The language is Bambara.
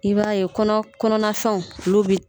I b'a ye kɔnɔ kɔnɔna fɛnw ulu bɛ